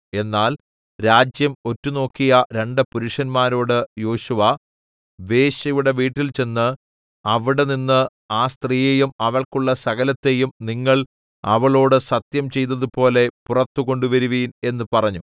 എന്നാൽ രാജ്യം ഒറ്റുനോക്കിയ രണ്ട് പുരുഷന്മാരോട് യോശുവ വേശ്യയുടെ വീട്ടിൽചെന്ന് അവിടെനിന്ന് ആ സ്ത്രീയെയും അവൾക്കുള്ള സകലത്തെയും നിങ്ങൾ അവളോട് സത്യം ചെയ്തതുപോലെ പുറത്തുകൊണ്ടുവരുവീൻ എന്ന് പറഞ്ഞു